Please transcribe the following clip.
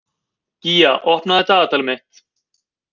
Gía, opnaðu dagatalið mitt.